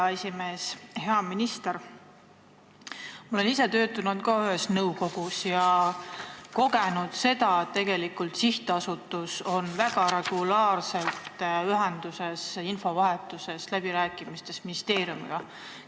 Ma olen ka ise töötanud ühes nõukogus ja kogenud seda, et sihtasutus on väga regulaarselt ühenduses, infovahetuses ja läbirääkimistes ministeeriumiga.